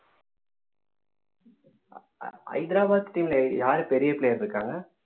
Hyderabad team ல யாரு பெரிய player இருக்காங்க